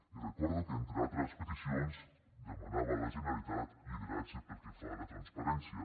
i recordo que entre altres peticions demanava a la generalitat lideratge pel que fa a la transparència